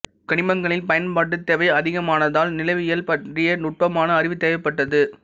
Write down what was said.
கனிமங்களின் பயன்பாட்டு தேவை அதிகமானதால் நிலவியல் பற்றிய நுட்பமான அறிவு தேவைப்பட்டது